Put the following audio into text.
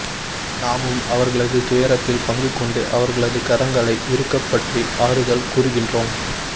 நாமும் அவர்களது துயரத்தில் பங்கு கொண்டு அவர்களது கரங்களை இறுகப்பற்றி ஆறுதல் கூறுகின்றோம்